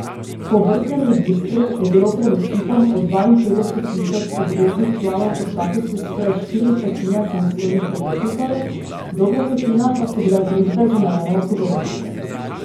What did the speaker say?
Po obrtnem registru je bilo pred osipom od dvainpetdeset tisoč obveznih članov po statusu skoraj štiri petine samostojnih podjetnikov, dobra petina pa so bile družbe z omejeno odgovornostjo.